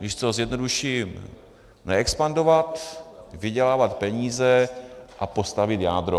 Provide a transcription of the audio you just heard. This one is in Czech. Když to zjednoduším, neexpandovat, vydělávat peníze a postavit jádro.